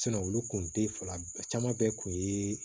olu kun te fila caman bɛɛ kun ye